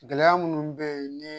Gɛlɛya minnu bɛ yen ni